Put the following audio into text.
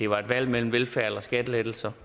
var et valg mellem velfærd og skattelettelser